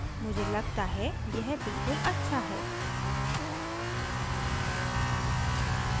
मुझे लगता है यह बिल्कुल अच्छा है